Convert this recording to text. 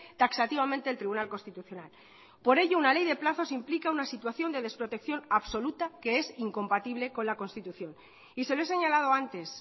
taxativamente el tribunal constitucional por ello una ley de plazos implica una situación de desprotecciónabsoluta que es incompatible con la constitución y se lo he señalado antes